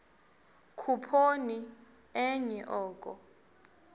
khuphoni enye oko